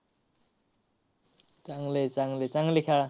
चांगलं आहे, चांगलं आहे. चांगलं खेळा.